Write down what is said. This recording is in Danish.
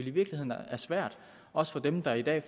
i virkeligheden er svært også for dem der i dag